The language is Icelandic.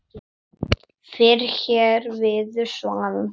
Fyrr hér viður svalan sand